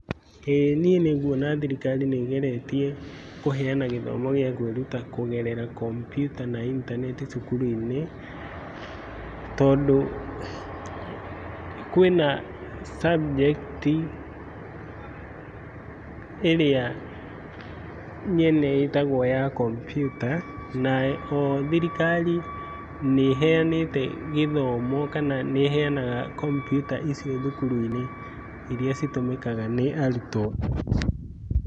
Ĩĩ niĩ nĩnguona thirikari nĩ ĩgeretie kũheana gĩthoma gĩa kwĩruta kũgerera kompiuta na intaneti cukuru-inĩ tondũ kũĩna subject ĩrĩa nyene ĩtagwo ya kompiuta na oho thirikari nĩheanĩte gĩthomo kana nĩheanaga kompiuta icio thukuru-inĩ iria citũmĩkaga nĩ arutwo.